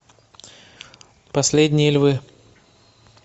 последние львы